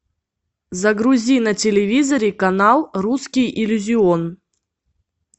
загрузи на телевизоре канал русский иллюзион